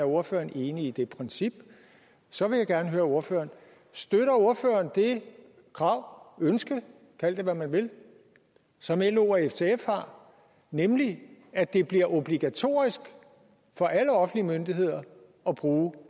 ordføreren er enig i det princip så vil jeg gerne høre ordføreren støtter ordføreren det krav ønske kald det hvad man vil som lo og ftf har nemlig at det bliver obligatorisk for alle offentlige myndigheder at bruge